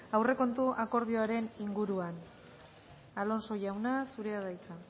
aurrekontu akordioaren inguruan alonso jauna zurea da hitza